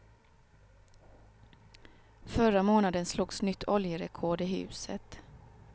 Förra månaden slogs nytt oljerekord i huset.